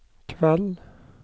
kveld